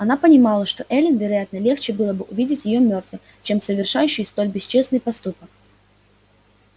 она понимала что эллин вероятно легче было бы увидеть её мёртвой чем совершающей столь бесчестный поступок